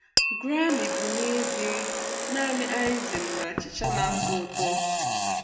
Grammy bụ nezie naanị icing na achicha na-atọ ụtọ.